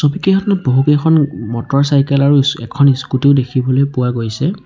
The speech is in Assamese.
বহুকেইখন মটৰচাইকেল আৰু এখন স্কুটী ও দেখিবলৈ পোৱা গৈছে।